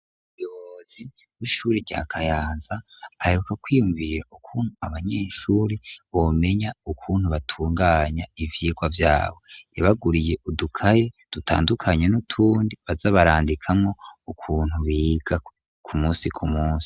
Umuyobozi w'ishuri rya kayanza aheruka kwiyumviya ukuntu abanyeshuri bomenya ukuntu batunganya ivyigwa byabo, yabaguriye udukaye dutandukanye , n'utundi bazabarandikamo ukuntu biga ku munsi ku munsi.